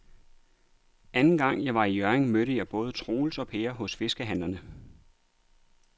Anden gang jeg var i Hjørring, mødte jeg både Troels og Per hos fiskehandlerne.